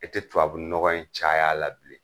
E tɛ tubabunɔgɔ in caya la bilen.